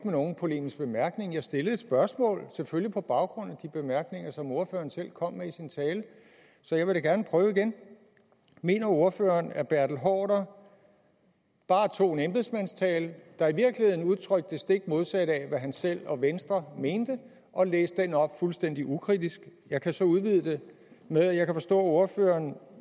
nogen polemisk bemærkning jeg stillede et spørgsmål selvfølgelig på baggrund af de bemærkninger som ordføreren selv kom med i sin tale så jeg vil da gerne prøve igen mener ordføreren at herre bertel haarder bare tog en embedsmandstale der i virkeligheden udtrykte det stik modsatte af hvad han selv og venstre mente og læste den op fuldstændig ukritisk jeg kan så udvide det med at jeg kan forstå at ordføreren